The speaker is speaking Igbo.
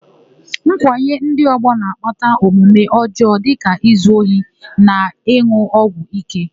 Nkwanye ndị ọgbọ na-akpata omume ọjọọ dịka izu ohi na ịn̄ụ ọgwụ íké.